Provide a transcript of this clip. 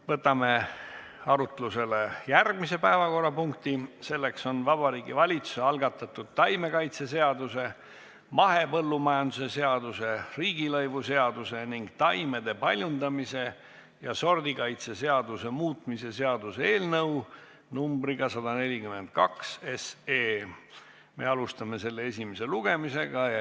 Võtame arutlusele järgmise päevakorrapunkti: Vabariigi Valitsuse algatatud taimekaitseseaduse, mahepõllumajanduse seaduse, riigilõivuseaduse ning taimede paljundamise ja sordikaitse seaduse muutmise seaduse eelnõu 142 esimene lugemine.